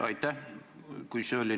Aitäh!